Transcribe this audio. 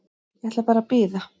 Ég ætla bara að bíða.